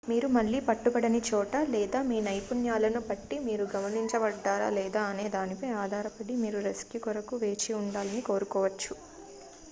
మీరు మళ్లీ పట్టుబడని చోట లేదా మీ నైపుణ్యాలను బట్టి మీరు గమనించబడ్డారా లేదా అనే దానిపై ఆధారపడి మీరు రెస్క్యూ కొరకు వేచి ఉండాలని కోరుకోవచ్చు